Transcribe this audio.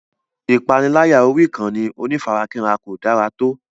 Ìpániláyà orí ìkànnì onífarakínra kò dára tó.